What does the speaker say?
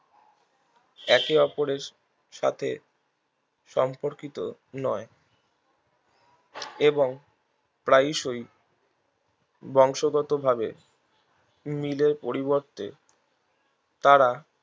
একে অপরের সাথে সম্পর্কিত নয় এবং প্রায়শই বংশগতভাবে মিলের পরিবর্তে তারা